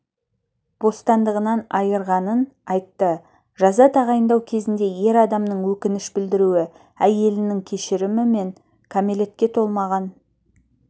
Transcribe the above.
бостандығынан айырғанын айтты жаза тағайындау кезінде ер адамның өкініш білдіруі әйелінің кешірімі мен кәмелетке толмаған